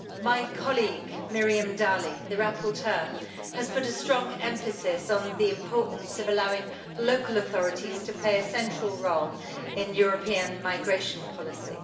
My colleague, Ms Miriam Dalli, the rapporteur, has put a strong emphasis on the importance of allowing local authorities to play a central role in European migration policy.